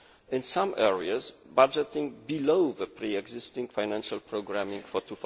in some areas budgeting below the pre existing financial programming for